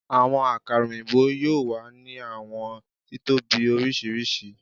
Awọn akara oyinbo, yoo wa ni awọn titobi oriṣiriṣi